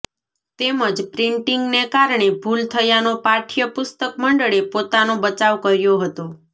તેમજ પ્રિન્ટીંગને કારણે ભુલ થયાનો પાઠ્ય પુસ્તક મંડળે પોતાનો બચાવ કર્યો હતો